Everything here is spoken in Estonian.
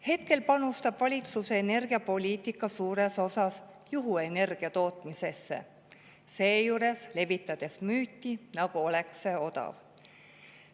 Praegu panustab valitsuse energiapoliitika suures osas juhuenergia tootmisesse, seejuures levitades müüti, nagu oleks see odav.